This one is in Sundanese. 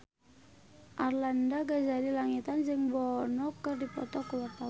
Arlanda Ghazali Langitan jeung Bono keur dipoto ku wartawan